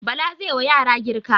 Bala zai wa yara girka.